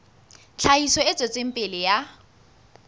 tlhahiso e tswetseng pele ya